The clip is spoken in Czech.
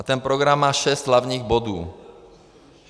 A ten program má šest hlavních bodů.